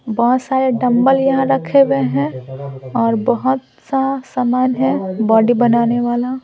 बहुत सारे डंबल यहाँ रखे हुए हैं और बहुत सा सामान है बॉडी बनाने वाला--